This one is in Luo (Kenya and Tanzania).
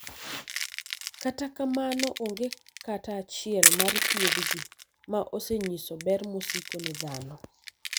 kata kamano, onge kata achiel mar thiethgi ma osenyiso ber mosiko ne dhano